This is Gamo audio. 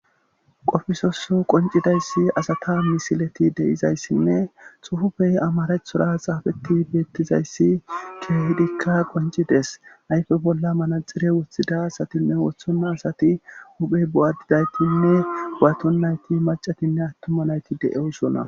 Qofisoso qoncidayssi asata misileti deizayssinne xufufey amarethora xaafeti beettizayssi kedikka qoncides ayfe bolla manaxire wuthida asatinne wothonna asati huphey bo7adidaytinne gu7aton nayti macatinne attuma nayti de7eossona